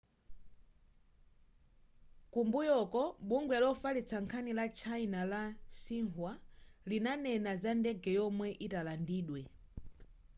kumbuyoku bungwe lofalitsa nkhani ku china la xinhua linanena za ndege yomwe italandidwe